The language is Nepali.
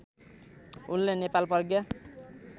उनले नेपाल प्रज्ञा